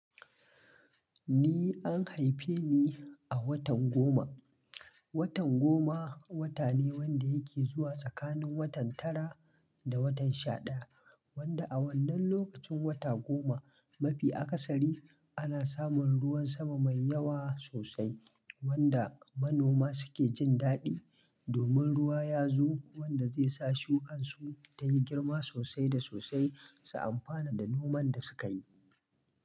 Ni an haife ni a watan goma. Watan goma wata ne wanda yake zuwa tsakanin watan tara da watan shaɗaya. Wanda a wannan lokacin wata goma mafi akasari ana samun ruwan sama mai yawa sosai wanda manoma suke jin daɗi. Domin ruwa ya zo wanda zai sa shukan su ta yi girma sosai da sosai su amfana da noman da sukayi.